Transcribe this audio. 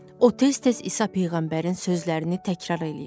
O tez-tez İsa peyğəmbərin sözlərini təkrar eləyirdi.